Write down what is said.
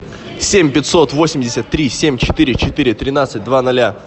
семь пятьсот восемьдесят три семь четыре четыре тринадцать два ноля